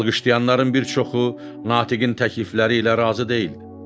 Alqışlayanların bir çoxu Natiqin təklifləri ilə razı deyildi.